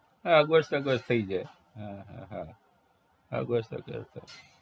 હા બસ બસ ને થઇ જાય હા હા હા હા બસ ઈ બસ